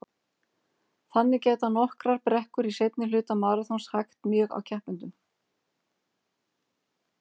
Þannig geta nokkrar brekkur í seinni hluta maraþons hægt mjög á keppendum.